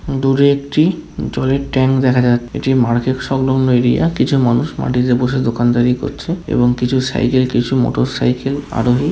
দুরে একটি জলের ট্যাঙ্ক দেখা যায়। এটি মার্কেট সংলগ্ন এরিয়া । কিছু মানুষ মাটিতে বসে দোকানদারি করছে এবং কিছু সাইকেল কিছু মোটরসাইকেল আরোহী।